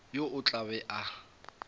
yo o tla be a